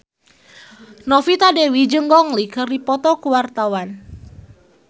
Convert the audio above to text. Novita Dewi jeung Gong Li keur dipoto ku wartawan